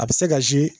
A bɛ se ka